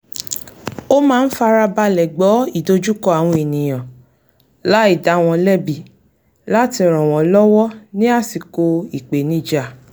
ó máa ń farabalẹ̀ gbọ́ ìdojúkọ àwọn ènìyàn láì dá wọn lẹ́bi láti ràn wọn lọ́wọ́ ní àsìkò ìpènijà